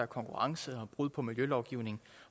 konkurrence brud på miljølovgivning